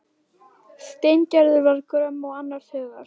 Steingerður var gröm og annars hugar.